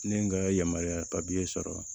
Ne ye n ka yamaruya papiye sɔrɔ